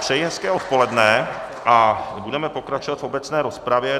Přeji hezké odpoledne a budeme pokračovat v obecné rozpravě.